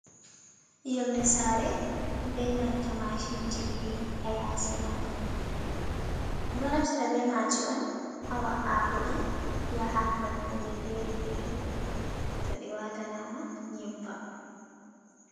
Yonde sare ɓe nanta machinji ɗiɗi, ha yasi majum ɗo naftira be maji on hawa’agodi yaha nokkuje fere-fere to ɗi watana ma nyebbam.